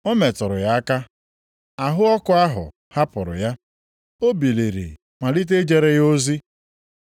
Ọ metụrụ ya aka, ahụ ọkụ ahụ hapụrụ ya, o biliri malite ijere ya ozi.